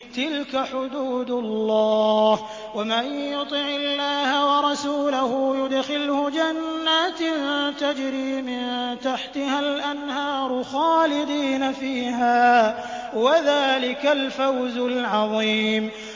تِلْكَ حُدُودُ اللَّهِ ۚ وَمَن يُطِعِ اللَّهَ وَرَسُولَهُ يُدْخِلْهُ جَنَّاتٍ تَجْرِي مِن تَحْتِهَا الْأَنْهَارُ خَالِدِينَ فِيهَا ۚ وَذَٰلِكَ الْفَوْزُ الْعَظِيمُ